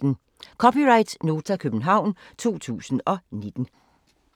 (c) Nota, København 2019